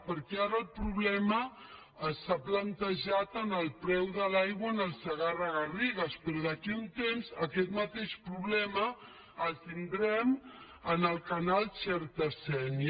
perquè ara el problema s’ha plantejat amb el preu de l’aigua en el segarra garrigues però d’aquí a un temps aquest mateix problema el tindrem en el canal xerta sénia